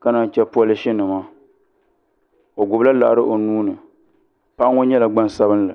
ka naan yi chɛ polish nima o gbubila laɣari o nuuni paɣa ŋo nyɛla gbansabinli